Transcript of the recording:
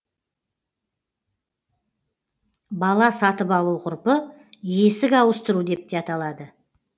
бала сатып алу ғұрпы есік ауыстыру деп те аталады